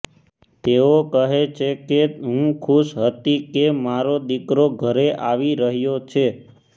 તેઓ કહે છે કે હું ખુશ હતી કે મારો દીકરો ઘરે આવી રહ્યો છે